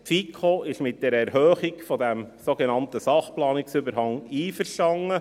Die FiKo ist mit der Erhöhung dieses sogenannten Sachplanungsüberhangs einverstanden.